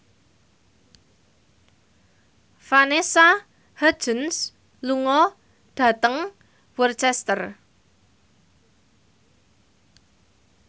Vanessa Hudgens lunga dhateng Worcester